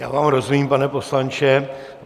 Já vám rozumím, pane poslanče.